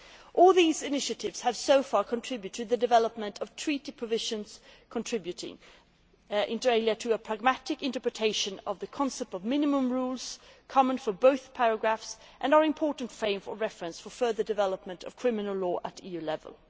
All these initiatives have so far contributed to the development of Treaty provisions contributing, inter alia, to a pragmatic interpretation of the concept of common minimum rules in both areas, and they are important frames of reference for further development of criminal law at EU level.